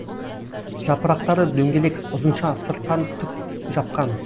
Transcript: жапырақтары дөңгелек ұзынша сырттан түк жапқан